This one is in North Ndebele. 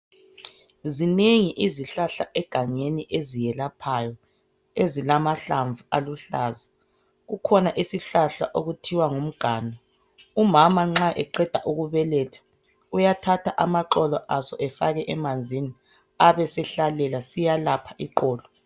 Zinengi izihlahla egangeni eziyelaphayo, ezilamahlamvu aluhlaza, kukhona isihlahla okuthiwa ngumganu. Umama nxa eqeda ukubeletha uyathatha amaxolo aso efake emanzini abesesihlalela siyelapha iqolo.